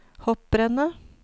hopprennet